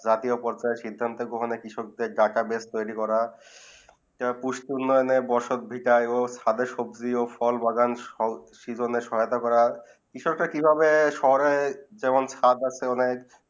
জাতীয় পরিমাণ হয়ে কৃষক দের ডাটা বসে তয়রি করা যার বর্ষয়ে হয়ে খাদের বাগানে ফল সবজি হো ফল বাগান সব সহায়তা করা কৃষক দের যে ভাবে শহরে যেমন খাদ আছে অনেক